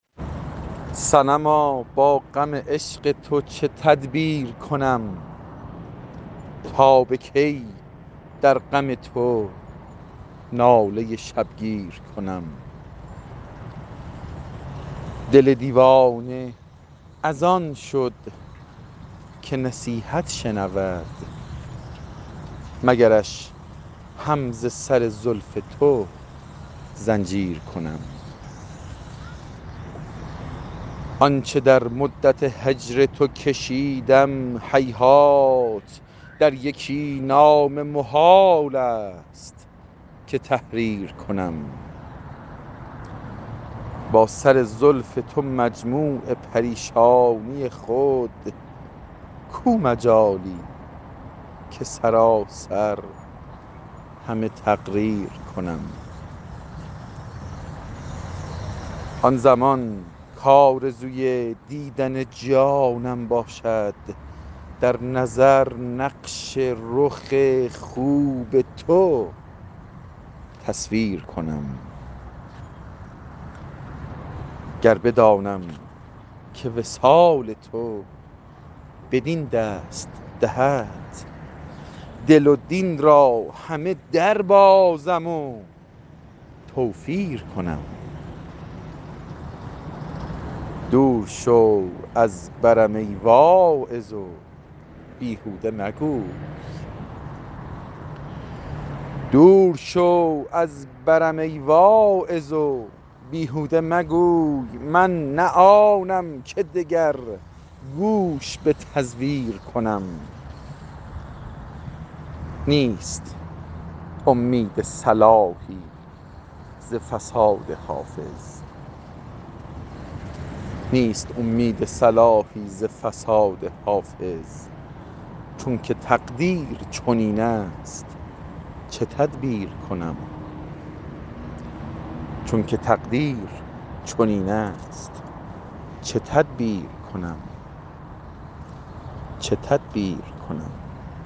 صنما با غم عشق تو چه تدبیر کنم تا به کی در غم تو ناله شبگیر کنم دل دیوانه از آن شد که نصیحت شنود مگرش هم ز سر زلف تو زنجیر کنم آن چه در مدت هجر تو کشیدم هیهات در یکی نامه محال است که تحریر کنم با سر زلف تو مجموع پریشانی خود کو مجالی که سراسر همه تقریر کنم آن زمان کآرزوی دیدن جانم باشد در نظر نقش رخ خوب تو تصویر کنم گر بدانم که وصال تو بدین دست دهد دین و دل را همه دربازم و توفیر کنم دور شو از برم ای واعظ و بیهوده مگوی من نه آنم که دگر گوش به تزویر کنم نیست امید صلاحی ز فساد حافظ چون که تقدیر چنین است چه تدبیر کنم